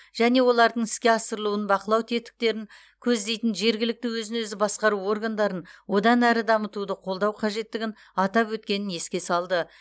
және олардың іске асырылуын бақылау тетіктерін көздейтін жергілікті өзін өзі басқару органдарын одан әрі дамытуды қолдау қажеттігін атап өткенін еске салды